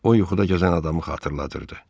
O yuxuda gəzən adamı xatırladırdı.